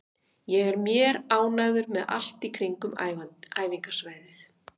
Ég er mér ánægður með allt í kringum æfingasvæðið.